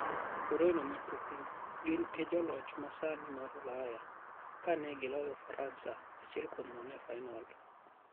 Ureno Matuklu: Gin e joloch masani mar Ulaya, kane gi loyo Faransa 1-0 e fainol..